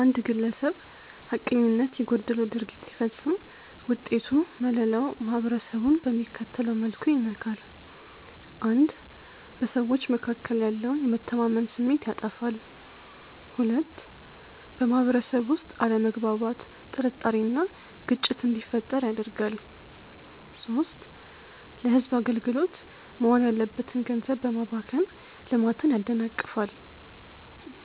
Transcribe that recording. አንድ ግለሰብ ሐቀኝነት የጎደለው ድርጊት ሲፈጽም ውጤቱ መለላው ማህበረሰቡን በሚከተለው መልኩ ይነካል፦ 1. በሰዎች መካከል ያለውን የመተማመን ስሜት ያጠፋል። 2. በማህበረሰቡ ውስጥ አለመግባባት፣ ጥርጣሬ እና ግጭት እንዲፈጠር ያደርጋል። 3. ለህዝብ አገልግሎት መዋል ያለበትን ገንዘብ በማባከን ልማትን ያደናቅፋል።